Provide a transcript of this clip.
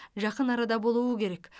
жақын арада болуы керек